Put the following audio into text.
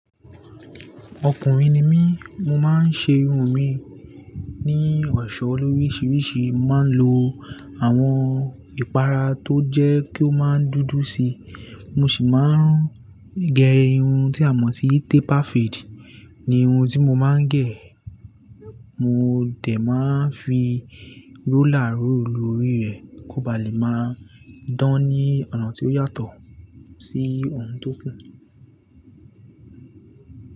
Ọkùnrin ni mí, mo máa ń ṣe irun mi ní ọ̀ṣọ́ loríṣiríṣi. Mo máa ń lo àwọn ìpara tó jẹ́ kí ó máa dúdú si, mo sì máa ń gẹ irun tí a mọ̀ sí taper fade ni irun tí mo máa ń gẹ̀. Mo dẹ̀ máa ń fi rúler rúlu órí rẹ̀ kó ba lè máa dán ní ọ̀nà tí ó yàtọ̀ sí ohun tó kù.